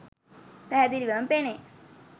පැහැදිලිවම පෙනේ.